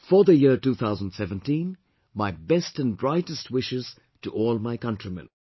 For the year 2017, my best and brightest wishes to all my countrymen